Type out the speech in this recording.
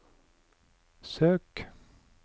søk